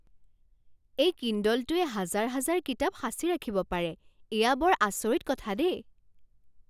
এই কিণ্ডলটোৱে হাজাৰ হাজাৰ কিতাপ সাঁচি ৰাখিব পাৰে। এয়া বৰ আচৰিত কথা দেই!